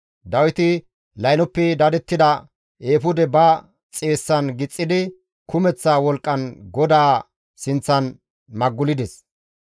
Dawiti laynoppe dadettida eefude ba xeessan gixxidi kumeththa wolqqan GODAA sinththan maggulides.